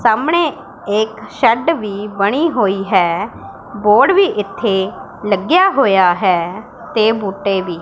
ਸਾਹਮਣੇ ਇੱਕ ਸ਼ੈੱਡ ਵੀ ਬਣੀ ਹੋਈ ਹੈ ਬੋਰਡ ਵੀ ਇੱਥੇ ਲੱਗਿਆ ਹੋਇਆ ਹੈ ਤੇ ਬੂਟੇ ਵੀ।